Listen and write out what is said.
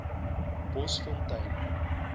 bosfontein